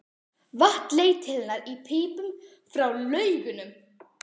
Vatn leitt til hennar í pípum frá laugunum.